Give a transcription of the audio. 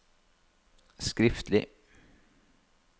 skriftlig